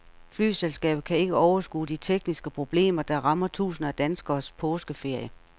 Flyselskabet kan ikke overskue de tekniske problemer, der rammer tusinder af danskeres påskeferie.